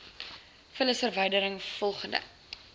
vullisverwyderin voldoende g